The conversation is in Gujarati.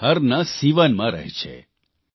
અને બિહારના સિવાનમાં રહે છે